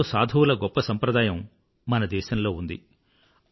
ఎందరో సాధువుల గొప్ప సంప్రదాయం మన దేశంలో ఉంది